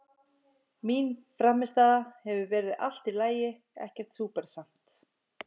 Mín frammistaða hefur verið allt í lagi, ekkert súper samt.